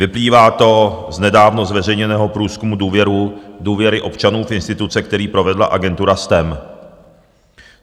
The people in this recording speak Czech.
Vyplývá to z nedávno zveřejněného průzkumu důvěry občanů v instituce, který provedla agentura STEM.